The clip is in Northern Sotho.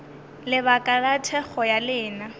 lebaka la thekgo ya lena